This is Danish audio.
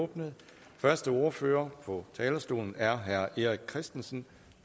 åbnet første ordfører på talerstolen er herre erik christensen